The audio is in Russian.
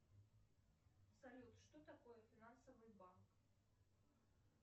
салют что такое финансовый банк